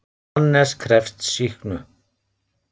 Hannes krefst sýknu.